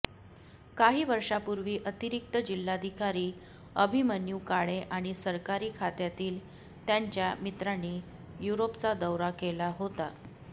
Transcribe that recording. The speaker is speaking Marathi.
काही वर्षांपूर्वी अतिरिक्त जिल्हाधिकारी अभिमन्यू काळे आणि सरकारी खात्यातील त्यांच्या मित्रांनी युरोपचा दौरा केला होता